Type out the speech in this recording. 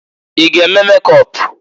I g'eme mekọp?